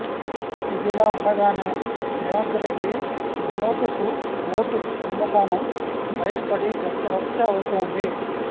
ఇదిలా ఉండగానే రేవంత్ రెడ్డి నోటుకు ఓటు కుంభకోణం బయటపడి రచ్చరచ్చ అవుతోంది